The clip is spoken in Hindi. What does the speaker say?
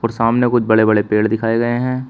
और सामने कुछ बड़े बड़े पेड़ दिखाएं गए हैं।